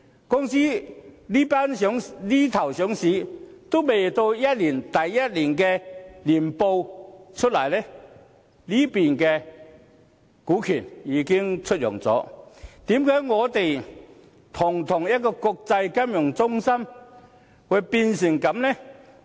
公司這邊廂上市，連第一年年報還未發表，那邊廂股權已經出讓，為何堂堂一個國際金融中心會變成這樣呢？